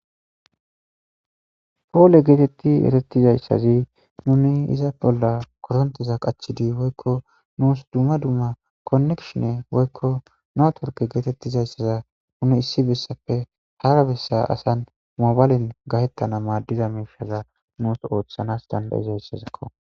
Poole getetid eretizaysazi nuni iza bolla koronteza qachodi woyko dumma dumma unsi connection woyko network issi besappe hara besa asa Mobilen gabetana madiza mishaza nuusi othana danda'izaysazako.